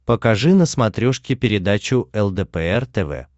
покажи на смотрешке передачу лдпр тв